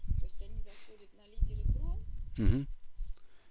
просто они заходят на лидеры про